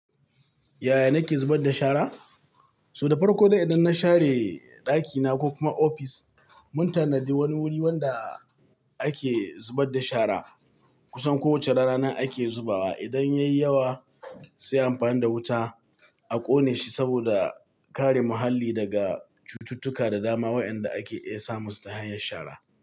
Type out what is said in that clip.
Yaya nake zubar da shara? To da farko to idan na share ɗakina ko kuma ofis, mun tanadi wani wuri wanda ake zubar da shara. Kusan kowace rana ake zubawa. Idan yayi yawa sai amfani da wuta a ƙone shi saboda kare muhalli daga cututtuka da dama waɗanda ake iya samunsu ta hanyar shara.